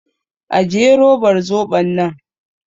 Ajiye robar zoɓon nan!